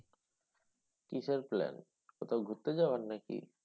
কিসের plan? কোথাও ঘুরতে যাওয়ার নাকি?